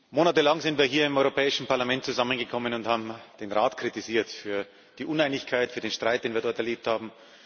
Monatelang sind wir hier im Europäischen Parlament zusammengekommen und haben den Rat kritisiert für die Uneinigkeit, für den Streit, den wir dort erlebt haben.